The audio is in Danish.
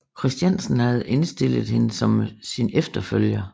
Christiansen havde indstillet hende som sin efterfølger